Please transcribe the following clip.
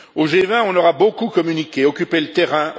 Au G20, on aura beaucoup communiqué, occupé le terrain.